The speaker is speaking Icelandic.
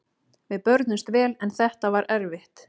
Við börðumst vel en þetta var erfitt.